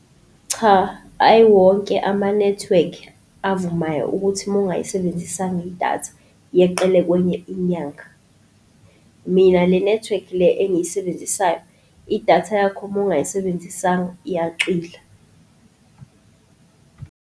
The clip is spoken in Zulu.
Cha, hhayi wonke amanethiwekhi avumayo ukuthi mongayisebenzisanga idatha yeqele kwenye inyanga. Mina le nethiwekhi le engiyisebenzisayo, idatha yakho uma ungayisebenzisanga, iyacwila.